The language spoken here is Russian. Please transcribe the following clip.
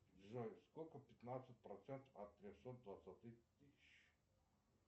джой сколько пятнадцать процентов от трехсот двадцати тысяч